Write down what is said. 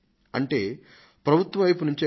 అంటే ప్రభుత్వం వైపు నుంచే కాదు